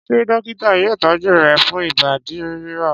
Ṣé dọ́kítá yóò tọ́jú rẹ̀ fún ìbádí ríro?